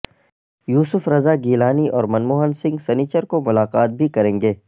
یوسف رضا گیلانی اور منموہن سنگھ سنیچر کو ملاقات بھی کریں گے